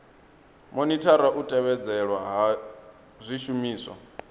monithara u tevhedzelwa ha zwishumiswa